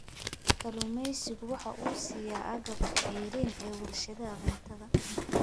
Kalluumaysigu waxa uu siiya agabka ceeriin ee warshadaha cuntada.